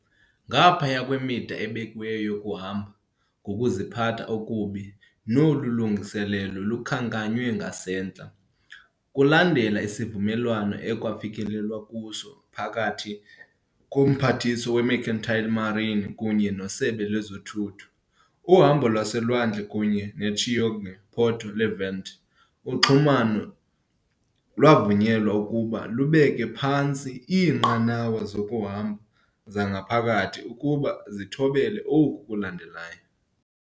Ngaphaya kwemida ebekiweyo yokuhamba ngokuziphatha okubi nolu lungiselelo lukhankanywe ngasentla, kulandela isivumelwano ekwafikelelwa kuso phakathi koMphathiswa we-Mercantile Marine kunye neSebe lezoThutho, uhambo lwaselwandle kunye ne-Chioggia-Porto Levante uxhumano lwavunyelwa ukuba lubeke phantsi iinqanawa zokuhamba zangaphakathi ukuba zithobele oku kulandelayo.